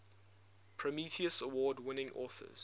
prometheus award winning authors